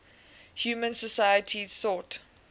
human societies sought